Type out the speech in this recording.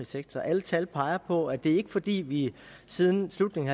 sektor alle tal peger på at det ikke er fordi vi siden slutningen